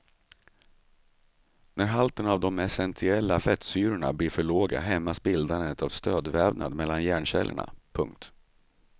När halten av de essentiella fettsyrorna blir för låg hämmas bildandet av stödvävnad mellan hjärncellerna. punkt